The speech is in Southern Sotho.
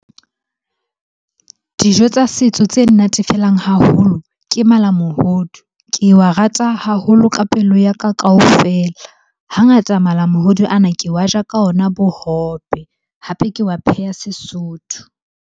Dijo tsa setso tse nnatefelang haholo ke malamohodu. Ke wa rata haholo ka pelo ya ka kaofela. Hangata malamohodu ana ke wa ja ka ona bohobe, hape ke wa pheha Sesotho.